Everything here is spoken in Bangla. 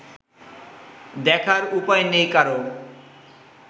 দেখার উপায় নেই কারও